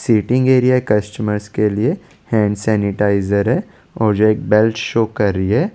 Seating area customer के लिए hand sanitiser है और एक बाइक शो कर रही है।